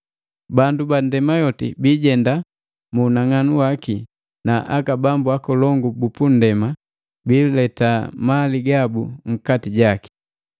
Bandu ba ndema yoti biijenda mu unang'anu waki na aka bambu akolongu bupu nndema biileta mali gabu nkati jaki.